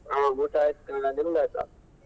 ಹ ಊಟ ಆಯ್ತು ಕಣಮ್ಮ ನಿಮ್ದಾಯ್ತಾ?